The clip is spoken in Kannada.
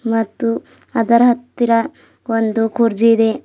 ಮತ್ತು ಅದರ ಹತ್ತಿರ ಒಂದು ಕುರ್ಚಿ ಇದೆ.